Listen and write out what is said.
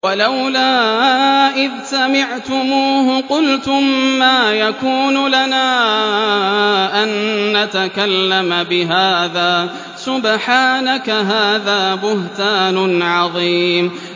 وَلَوْلَا إِذْ سَمِعْتُمُوهُ قُلْتُم مَّا يَكُونُ لَنَا أَن نَّتَكَلَّمَ بِهَٰذَا سُبْحَانَكَ هَٰذَا بُهْتَانٌ عَظِيمٌ